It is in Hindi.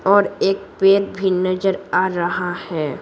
और एक पेर भी नजर आ रहा है।